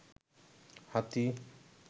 হাতী